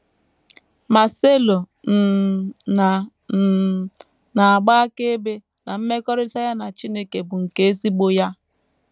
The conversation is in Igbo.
Marcelo um na um na - agba akaebe na mmekọrịta ya na Chineke bụ nke ezigbo ya.